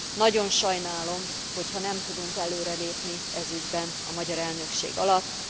Nagyon sajnálom, hogyha nem tudunk előrelépni ez ügyben a magyar elnökség alatt.